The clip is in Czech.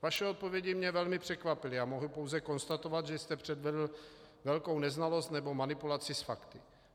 Vaše odpovědi mě velmi překvapily a mohu pouze konstatovat, že jste předvedl velkou neznalost nebo manipulaci s fakty.